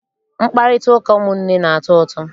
Mkparịtaụka ụmụnne na-atọ ụtọ.